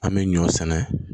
An bɛ ɲɔ sɛnɛ